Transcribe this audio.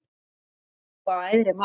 Trúir þú á æðri mátt?